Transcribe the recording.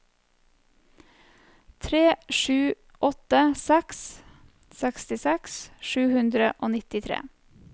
tre sju åtte seks sekstiseks sju hundre og nittitre